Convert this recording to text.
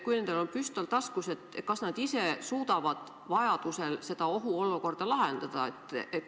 Kui nendel on püstol taskus, siis kas nad ise suudavad vajaduse korral seda ohuolukorda lahendada?